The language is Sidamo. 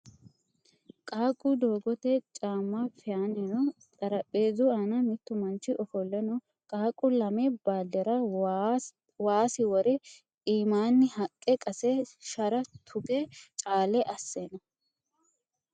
Qaaqqu doogote caamma fayaanni no. Xarapheezzu aana mittu manchi ofolle no. Qaaqqu lame baaldera was wore iimaanni haqqe qase shara tuge caa'le asse no.